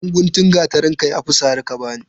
Ɗan guntun gatarin ka ya fi sari ka bani.